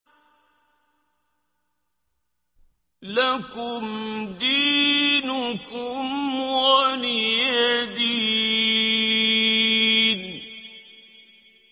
لَكُمْ دِينُكُمْ وَلِيَ دِينِ